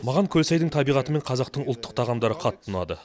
маған көлсайдың табиғаты мен қазақтың ұлттық тағамдары қатты ұнады